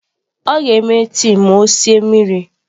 Ọ ga-eme tii ma ọ sie mmiri.